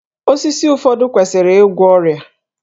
Osisi ụfọdụ kwesịrị igwọ ọrịa